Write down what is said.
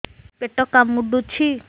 ପେଟ କାମୁଡୁଛି